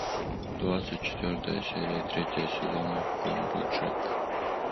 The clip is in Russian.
двадцать четвертая серия третьего сезона конь боджек